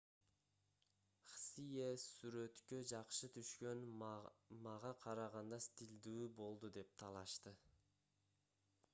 хсие сүрөткө жакшы түшкөн мага караганда стилдүү болду деп талашты